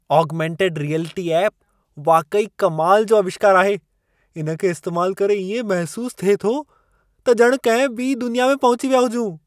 Augmented reality app वाक़ई कमाल जो आविष्कार आहे। इन खे इस्तेमाल करे इएं महिसूस थिए थो, त ॼणु कंहिं ॿिई दुनिया में पहुची विया हुजूं।